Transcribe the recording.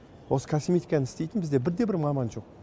осы косметиканы істейтін бізде бірде бір маман жоқ